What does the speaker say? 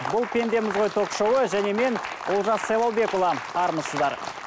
бұл пендеміз ғой ток шоуы және мен олжас сайлаубекұлы армысыздар